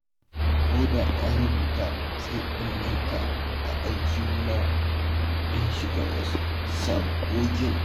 Ko da na rubuta sai in manta shi a aljihuna in shiga wasu sabgogin.